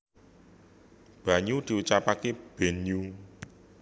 banyu diucapake benhyu